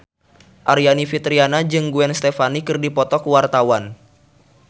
Aryani Fitriana jeung Gwen Stefani keur dipoto ku wartawan